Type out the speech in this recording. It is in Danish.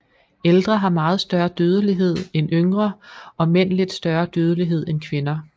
Ældre har meget større dødelighed end yngre og mænd lidt større dødelighed end kvinder